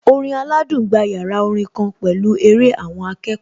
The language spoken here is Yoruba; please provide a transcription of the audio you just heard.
Orin aládùn gba yàrá orin kan pẹ̀lú eré àwọn akẹ́kọ̀ọ́